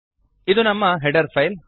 ಇದು ನಮ್ಮ header file